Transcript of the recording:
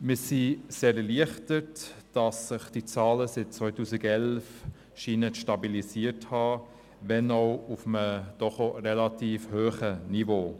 Wir sind erleichtert darüber, dass sich die Zahlen seit 2011 stabilisiert zu haben scheinen, wenn auch auf einem doch relativ hohen Niveau.